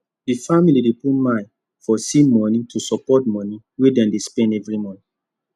the family dey put mind for ssi money to support money wey dem dey spend every month